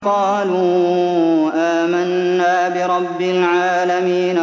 قَالُوا آمَنَّا بِرَبِّ الْعَالَمِينَ